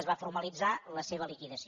es va formalitzar la seva liquidació